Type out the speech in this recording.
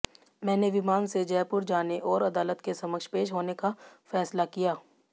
मैंने विमान से जयपुर जाने और अदालत के समक्ष पेश होने का फैसला किया